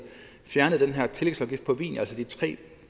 fjernede den her tillægsafgift på vin altså de tre